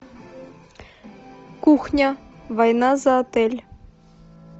кухня война за отель